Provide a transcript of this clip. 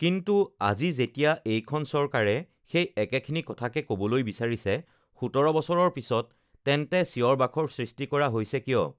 কিন্তু আজি য়েতিয়া এইখন চৰকাৰে সেই একেখিনি কথাকে ক'বলৈ বিচাৰিছে ১৭ বছৰৰ পিছত তেন্তে চিঞৰ বাখৰৰ সৃষ্টি কৰা হৈছে কিয়?